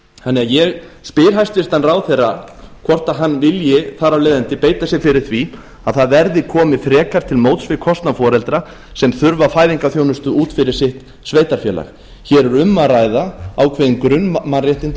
þannig að ég spyr hæstvirtur ráðherra hvort hann vilji þar af leiðandi beita sér fyrir því að það verði komið frekar til móts við kostnað foreldra sem þurfa fæðingarþjónustu út fyrir sitt sveitarfélag hér er um að ræða ákveðin grunnmannréttindi